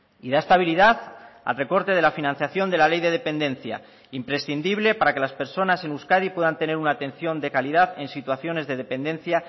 y da estabilidad al recorte de la financiación de la ley de dependencia imprescindible para que las personas en euskadi puedan tener una atención de calidad en situaciones de dependencia